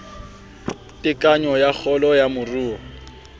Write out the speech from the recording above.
tekanyo ya kgolo ya moruo